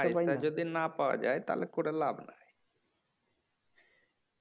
পয়সা যদি না পাওয়া যায় তাহলে করে লাভ নাই